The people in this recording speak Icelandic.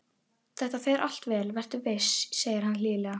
Þetta fer allt vel, vertu viss, segir hann hlýlega.